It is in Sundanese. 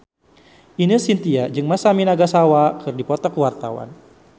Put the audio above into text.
Ine Shintya jeung Masami Nagasawa keur dipoto ku wartawan